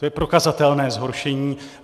To je prokazatelné zhoršení.